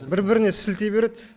бір біріне сілтей береді